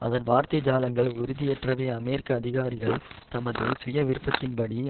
அதன் வார்த்தை ஜாலங்கள் உறுதியற்றவை அமெரிக்க அதிகாரிகள் தமது சுயவிருப்பத்தின்படி